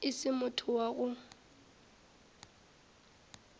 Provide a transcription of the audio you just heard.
e se motho wa go